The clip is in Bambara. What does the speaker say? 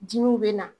Dimiw bɛ na